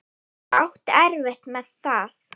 Ég átti erfitt með það.